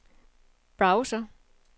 browser